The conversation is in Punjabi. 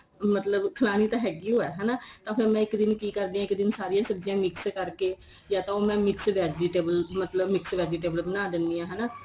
ਮਤਲਬ ਖਲਾਣੀ ਤਾਂ ਹੈਗੀ ਓ ਏ ਹਨਾ ਹੁਣ ਮੈਂ ਕੀ ਕਰਦੀ ਆ ਇੱਕ ਦਿਨ ਸਾਰੀਆਂ ਸਬਜੀਆਂ mix ਕਰਕੇ ਯਾ ਤਾਂ ਉਹ ਮੈਂ mix vegetable ਮਤ੍ਲ੍ਬ੍ਨ mix vegetable ਬਣਾ ਦੇਂਦੀ ਆ ਹਨਾ